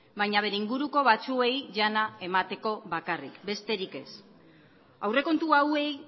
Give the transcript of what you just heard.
baina bere inguruko batzuei jana emateko bakarrik besterik ez aurrekontu hauei